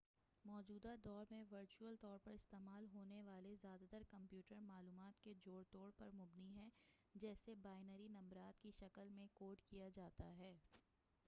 موجودہ دور میں ورچول طور پر استعمال ہونے والے زیادہ تر کمپیوٹر معلومات کے جوڑ توڑ پر مبنی ہے جسے بائنری نمبرات کی شکل میں کوڈ کیا جاتا ہے